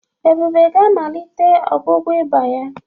Ebube ga-amalite ọgwụgwọ ịba ya.